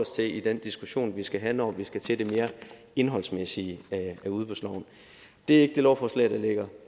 til i den diskussion vi skal have når vi skal over til det mere indholdsmæssige af udbudsloven det er ikke det lovforslag der ligger